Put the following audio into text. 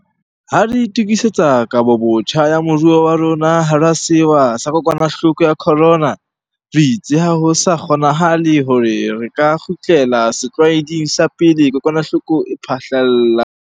Ha re itukisetsa kahobotjha ya moruo wa rona hara sewa sa kokwanahloko ya corona, re itse ha ho sa kgonanahale hore re ka kgutlela setlwaeding sa pele kokwanahloko e phahlalla.